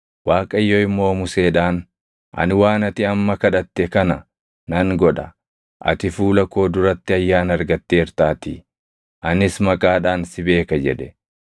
Waaqayyo immoo Museedhaan, “Ani waan ati amma kadhatte kana nan godha; ati fuula koo duratti ayyaana argatteertaatii; anis maqaadhaan si beeka” jedhe.